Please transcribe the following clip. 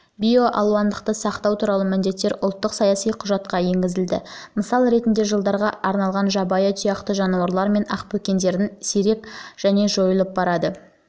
биоалуандылықты сақтау туралы міндеттер ұлттық саяси құжатқа енгізілді мысал ретінде жылдарға арналған жабайы тұяқты жануарлар мен ақбөкендердің сирек және жойылып барады